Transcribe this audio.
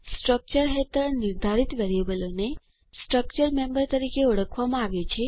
structure હેઠળ નિર્ધારિત વેરીયેબલોને સ્ટ્રક્ચર મેમ્બર તરીકે ઓળખવામાં આવે છે